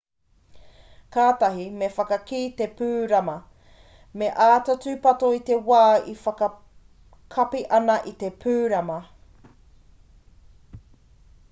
kātahi me whakakī te pūrama me āta tūpato i te wā e whakakapi ana i te pūrama